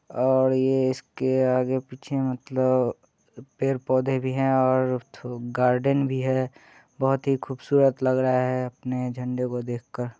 और ये इसके आगे पीछे मतलब अ पेर पौधे भी हैं और थू गार्डन भी है | बोहोत ही खूबसूरत लग रहा है अपने झंडे को देखकर ।